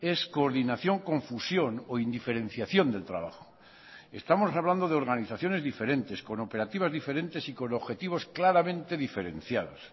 es coordinación con fusión o indiferenciación del trabajo estamos hablando de organizaciones diferentes con operativas diferentes y con objetivos claramente diferenciados